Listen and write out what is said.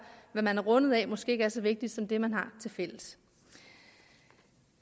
hvad man er rundet af måske ikke er så vigtigt som det man har tilfælles